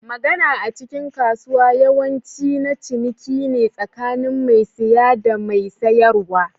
Magana a cikin kasuwa yawanci, na ciniki ne tsakanin mai siya da mai sayarwa.